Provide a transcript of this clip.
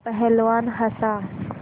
पहलवान हँसा